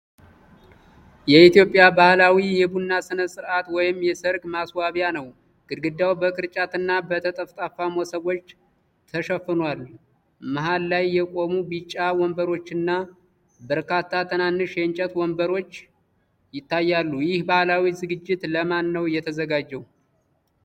የኢትዮጵያ ባህላዊ የቡና ሥነ ሥርዓት ወይም የሠርግ ማስዋቢያ ነው። ግድግዳው በቅርጫትና በጠፍጣፋ መሶቦች ተሸፍኗል። መሃል ላይ የቆሙ ቢጫ ወንበሮችና በርካታ ትናንሽ የእንጨት ወንበሮች ይታያሉ። ይህ ባህላዊ ዝግጅት ለማን ነው የተዘጋጀው?